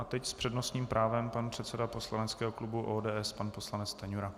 A teď s přednostním právem pan předseda poslaneckého klubu ODS, pan poslanec Stanjura.